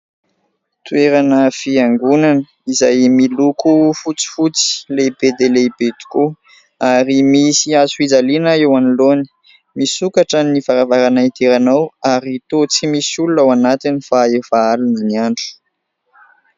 Toerana fiangonana: izay miloko fotsifotsy lehibe dia lehibe tokoa ary misy hazo fijaliana eo anoloany, misokatra ny varavarana idirana ao ary toa tsy misy olona ao anatiny fa efa alina ny andro.